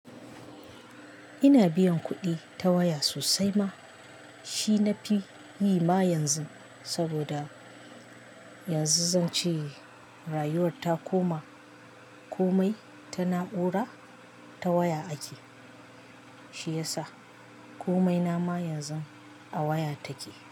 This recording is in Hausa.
Ina biyan kuɗi ta waya sosai ma, shi nafi yi ma yanzu saboda yanzu zan ce rayuwar ta koma komai ta na'ura ta waya ake, shi yasa komai na ma yanzu a waya take.